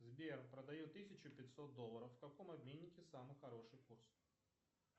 сбер продаю тысячу пятьсот долларов в каком обменнике самый хороший курс